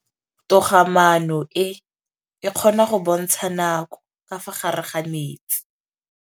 Toga-maanô e, e kgona go bontsha nakô ka fa gare ga metsi.